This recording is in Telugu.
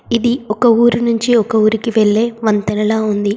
ఇది ఒక ఊరి నుంచి ఒక ఊరికి వెళ్లే వంతెనలా ఉంది.